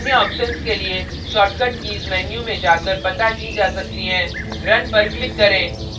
अन्य options के लिए shortcut कीज़ menu में जाकर पता की जा सकती हैं run पर click करें